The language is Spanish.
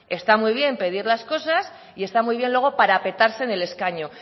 está muy bien pedir las cosas y está muy bien luego parapetarse en el escaño